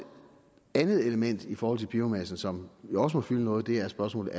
andet element i forhold til biomasse som jo også må fylde noget det er spørgsmålet